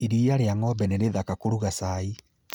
Iria rĩa ng'ombe nĩ rĩthaka kũruga caai